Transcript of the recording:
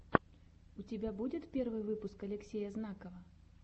у тебя будет первый выпуск алексея знакова